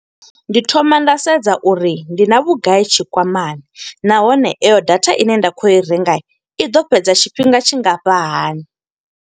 Ndi thoma nda sedza uri ndi na vhugai tshikwamani. Nahone iyo data ine nda khou yo i renga, i ḓo fhedza tshifhinga tshingafha hani.